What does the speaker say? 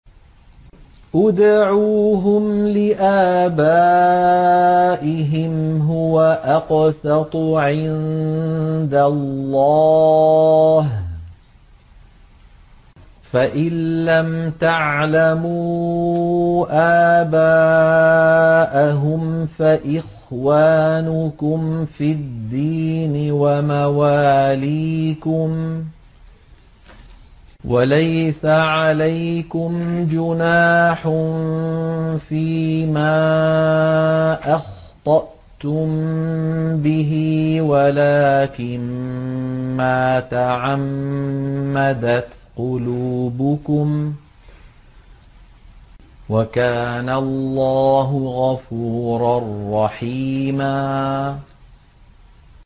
ادْعُوهُمْ لِآبَائِهِمْ هُوَ أَقْسَطُ عِندَ اللَّهِ ۚ فَإِن لَّمْ تَعْلَمُوا آبَاءَهُمْ فَإِخْوَانُكُمْ فِي الدِّينِ وَمَوَالِيكُمْ ۚ وَلَيْسَ عَلَيْكُمْ جُنَاحٌ فِيمَا أَخْطَأْتُم بِهِ وَلَٰكِن مَّا تَعَمَّدَتْ قُلُوبُكُمْ ۚ وَكَانَ اللَّهُ غَفُورًا رَّحِيمًا